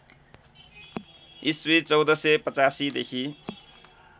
इस्वी १४८५ देखि